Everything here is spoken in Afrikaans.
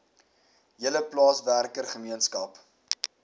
hele plaaswerker gemeenskap